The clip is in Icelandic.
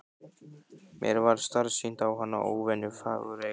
Mér varð starsýnt á hana, óvenju fagureyga.